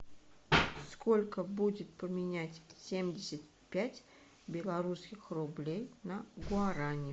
сколько будет поменять семьдесят пять белорусских рублей на гуарани